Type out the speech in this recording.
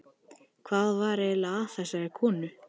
Hvað var eiginlega að þessari konu?